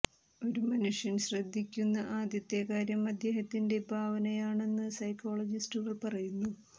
ഒരു മനുഷ്യൻ ശ്രദ്ധിക്കുന്ന ആദ്യത്തെ കാര്യം അദ്ദേഹത്തിന്റെ ഭാവനയാണെന്ന് സൈക്കോളജിസ്റ്റുകൾ പറയുന്നു